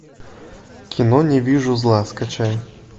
кино не вижу зла скачай